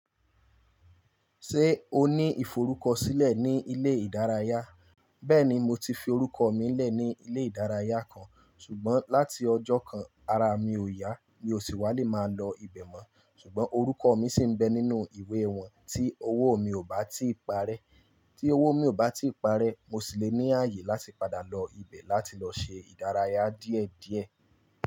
Ṣé o ní ìforúkọ sílẹ̀ ní ilé ìdárayá? Bẹ́ẹ̀ni, mo ti fi orúkọ mi lẹ̀ ní ilé ìdárayá kan, ṣùgbọ́n láti ọjọ́ kan, ara mi ò yá, mi ò sì wá lè máa lọ ibẹ̀ mọ́. Ṣùgbọ́n orúkọ mi sì ń bẹ nínú ìwé wọn tí owó mi ò bá ti parẹ́. Tí owó mi ò bá ti parẹ́, mo sì le ní àyè láti padà lọ ibẹ̀ láti lọ ṣe ìdárayá díẹ̀díẹ̀.